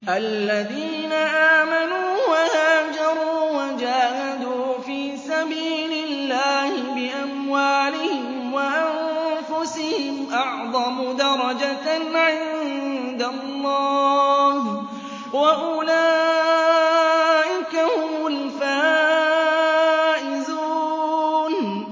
الَّذِينَ آمَنُوا وَهَاجَرُوا وَجَاهَدُوا فِي سَبِيلِ اللَّهِ بِأَمْوَالِهِمْ وَأَنفُسِهِمْ أَعْظَمُ دَرَجَةً عِندَ اللَّهِ ۚ وَأُولَٰئِكَ هُمُ الْفَائِزُونَ